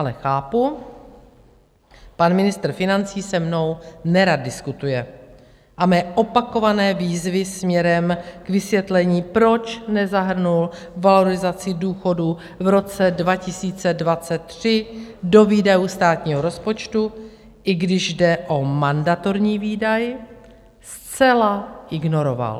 Ale chápu, pan ministr financí se mnou nerad diskutuje a mé opakované výzvy směrem k vysvětlení, proč nezahrnul valorizaci důchodů v roce 2023 do výdajů státního rozpočtu, i když jde o mandatorní výdaj, zcela ignoroval.